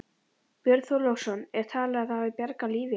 Björn Þorláksson: Er talið að það hafi bjargað lífi hans?